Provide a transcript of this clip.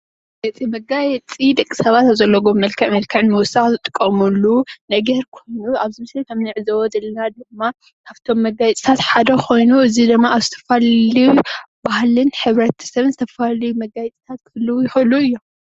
እቲ መጋየጺ ደቂ ሰባት ኣብ ዘለዎም መልክዕ መልክዕ ንምዉሳክ ዝጥቀምሉ ናይ እግሪ ኩሉ ኣብዚ ምስሊ ክምንዕዘቦ ዘለና ድማ ካብቶ መጋየጽታት ሓደ ኮይኑ እዚ ድማ ኣብ ዝተፈላለዩ ባህልን ሕብረተሰብ ዝተፈላልዩ መጋየጽታት ክህልዉ ይክእሉ እዮም።